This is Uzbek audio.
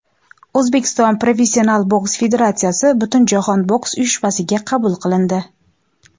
O‘zbekiston professional boks federatsiyasi Butunjahon boks uyushmasiga qabul qilindi.